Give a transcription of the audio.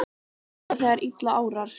Líka þegar að illa árar?